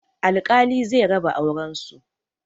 Alkali zai raba auren su